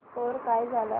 score काय झाला